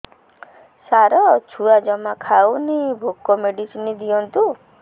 ସାର ଛୁଆ ଜମା ଖାଉନି ଭୋକ ମେଡିସିନ ଦିଅନ୍ତୁ